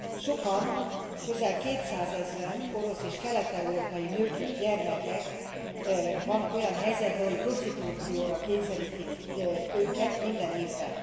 Sokan, közel kétszázezren, orosz és kelet európai nők és gyermekek vannak olyan helyzetben, hogy prostitúcióra kényszerítik őket minden évben.